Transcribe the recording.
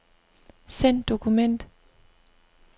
Send dokument.